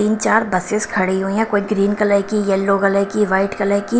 तीन चार बसेस खड़ी हुई है कोई ग्रीन कलर की येलो कलर की वाइट कलर की--